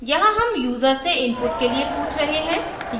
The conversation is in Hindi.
यहाँ हम यूजर से इनपुट के लिए पूछ रहे हैं